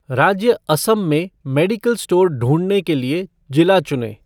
राज्य असम में medical store ढूँढने के लिए जिला चुनें।